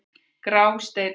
Grásteini